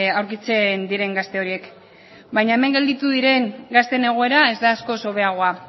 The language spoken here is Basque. aurkitzen diren gazte horiek baina hemen gelditu diren gazteen egoera ez da askoz hobeagoa